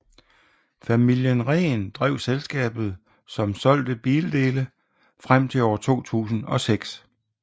Familien Rehn drev selskabet som solgte bildele frem til år 2006